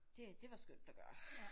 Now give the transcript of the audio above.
Det det var skønt at gøre